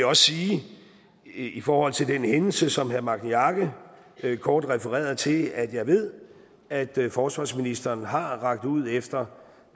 også sige i forhold til den hændelse som herre magni arge kort refererede til at jeg ved at forsvarsministeren har rakt ud efter